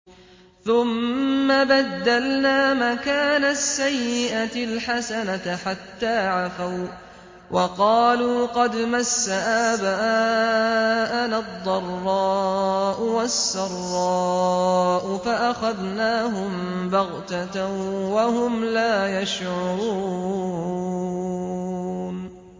ثُمَّ بَدَّلْنَا مَكَانَ السَّيِّئَةِ الْحَسَنَةَ حَتَّىٰ عَفَوا وَّقَالُوا قَدْ مَسَّ آبَاءَنَا الضَّرَّاءُ وَالسَّرَّاءُ فَأَخَذْنَاهُم بَغْتَةً وَهُمْ لَا يَشْعُرُونَ